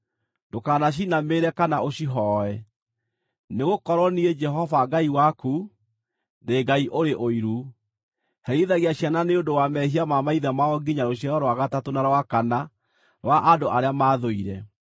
Ndũkanacinamĩrĩre kana ũcihooe, nĩgũkorwo niĩ, Jehova Ngai waku, ndĩ Ngai ũrĩ ũiru, herithagia ciana nĩ ũndũ wa mehia ma maithe mao nginya rũciaro rwa gatatũ na rwa kana rwa andũ arĩa maathũire,